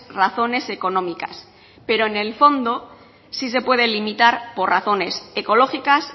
razones económicas pero en el fondo sí se pueden limitar por razones ecológicas